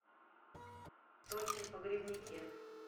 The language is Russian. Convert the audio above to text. тохе погребняке